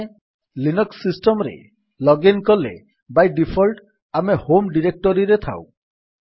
ଆମେ Linux system ରେ login କଲେ ବାଇ ଡିଫଲ୍ଟ୍ ଆମେ ହୋମ୍ ଡିରେକ୍ଟୋରୀରେ ଥାଉ